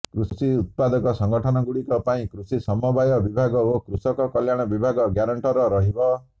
କୃଷି ଉତ୍ପାଦକ ସଂଗଠନଗୁଡିକ ପାଇଁ କୃଷି ସମବାୟ ବିଭାଗ ଓ କୃଷକ କଲ୍ୟାଣ ବିଭାଗ ଗ୍ୟାରେଣ୍ଟର ରହିବ